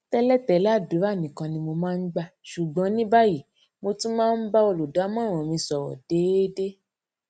télètélè àdúrà nìkan ni mo máa ń gbà ṣùgbọn ní báyìí mo tún máa ń bá olùdámọràn mi sòrò déédé